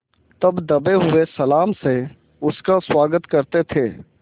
तब दबे हुए सलाम से उसका स्वागत करते थे